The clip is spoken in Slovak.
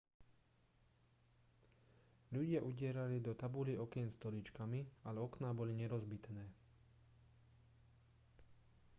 ľudia udierali do tabulí okien stoličkami ale okná boli nerozbitné